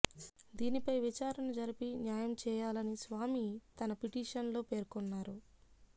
దీనిపై విచారణ జరిపి న్యాయం చేయాలని స్వామి తన పిటిషన్ లో పేర్కొన్నారు